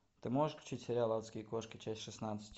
ты можешь включить сериал адские кошки часть шестнадцать